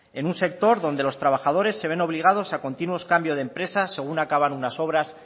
en un sector donde los trabajadores se ven obligados a continuos cambios de empresa según acaban unas obras